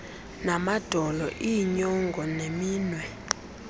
namadolo iinyonga neminwe